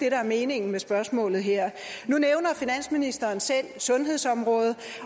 er meningen med spørgsmålet her nu nævner finansministeren selv sundhedsområdet